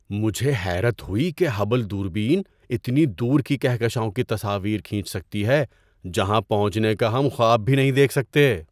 مجھے حیرت ہوئی کہ ہبل دوربین اتنی دور کی کہکشاؤں کی تصاویر کھینچ سکتی ہے جہاں پہنچنے کا ہم خواب بھی نہیں دیکھ سکتے!